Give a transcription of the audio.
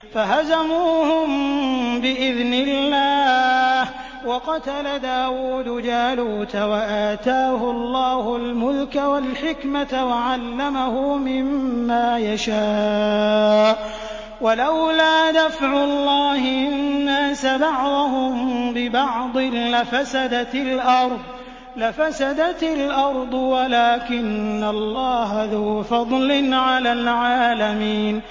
فَهَزَمُوهُم بِإِذْنِ اللَّهِ وَقَتَلَ دَاوُودُ جَالُوتَ وَآتَاهُ اللَّهُ الْمُلْكَ وَالْحِكْمَةَ وَعَلَّمَهُ مِمَّا يَشَاءُ ۗ وَلَوْلَا دَفْعُ اللَّهِ النَّاسَ بَعْضَهُم بِبَعْضٍ لَّفَسَدَتِ الْأَرْضُ وَلَٰكِنَّ اللَّهَ ذُو فَضْلٍ عَلَى الْعَالَمِينَ